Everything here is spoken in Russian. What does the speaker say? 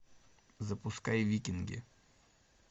запускай викинги